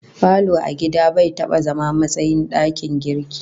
Falo a gida bai taba zama matsayin dakin girki